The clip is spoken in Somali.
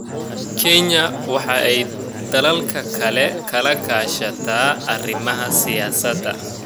Kenya waxa ay dalalka kale kala kaashataa arrimaha siyaasadda.